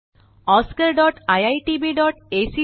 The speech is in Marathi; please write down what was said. spoken tutorialorgnmeict intro